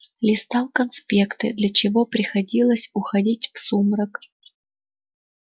листал конспекты для чего приходилось уходить в сумрак